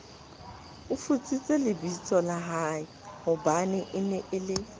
futsitse lebitsola haehobanee nee le